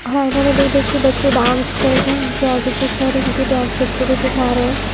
और आइने में देख-देख के बच्चे डांस कर रहे हैं उनके आगे जो सर हैं वो भी डांस बच्चों को सिखा रहे हैं।